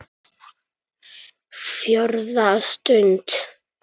FJÓRÐA STUND